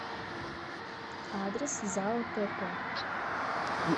адрес зао теко